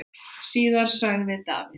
Síðar sagði Davíð: